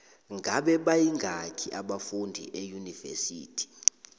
ngabe bayingaki abafundi eunivesithi